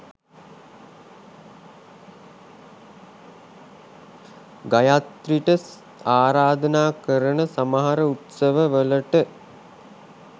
ගයත්‍රිට ආරාධනා කරන සමහර උත්සවවලට